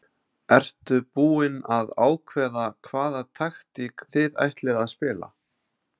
Ertu búinn að ákveða hvaða taktík þið ætlið að spila?